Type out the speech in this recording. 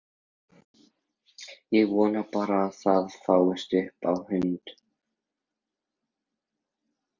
Ég vona bara að það fáist upp á hund!